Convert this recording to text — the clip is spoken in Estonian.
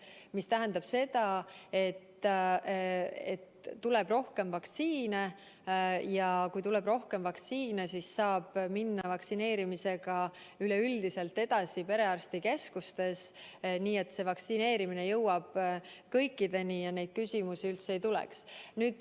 See tähendab seda, et tuleb rohkem vaktsiine, ja kui tuleb rohkem vaktsiine, siis saab minna vaktsineerimisega edasi perearstikeskustes, nii et see vaktsiin jõuab kõikideni ja neid küsimusi üldse ei tule.